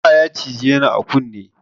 Zama ya cije ni a kunne